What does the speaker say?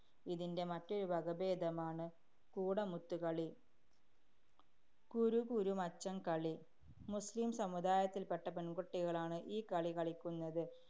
ഇതിന്‍റെ മറ്റൊരു വകഭേദമാണ് കുടമൂത്തുകളി. കുരുകുരുമച്ചം കളി. മുസ്ലിം സമുദായത്തില്‍പ്പെട്ട പെണ്‍കുട്ടികളാണ് ഈ കളി കളിക്കുന്നത്.